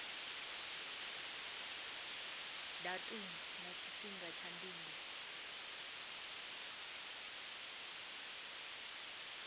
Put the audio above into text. datumu na tshifhinga tsha ndingo